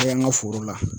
Kɛ an ka foro la